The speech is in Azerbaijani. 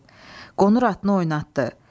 Qonur atını oynatdı.